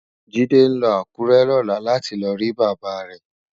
Jide nlò Akure lòlá láti lò ri Baba rè